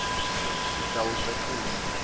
sitawucacisa